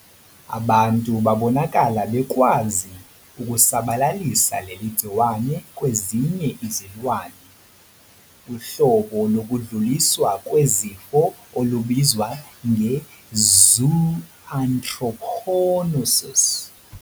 Abantu babonakala bekwazi ukusabalalisa leli gciwane kwezinye izilwane, uhlobo lokudluliswa kwezifo olubizwa nge-zooanthroponosis.